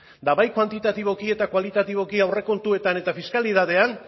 eta bai kuantitatiboki eta kualitatiboki aurrekontuetan eta fiskalitatean